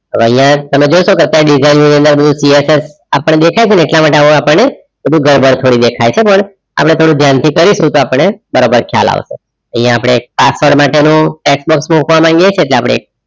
હવે અહીંયા તમે જોઈ શકો છો design view અંદર બધુ PSS દેખાય છે. એટલા માટે આવું આપણને ગડબડ થોડી દેખાય છે. પણ આપણે થોડું ધ્યાનથી કરીશું તો આપણને બરોબર ખ્યાલ આવશે અહીંયા આપણે password માટેનું tax box મૂકવા માગીએ છીએ. એટલે આપણે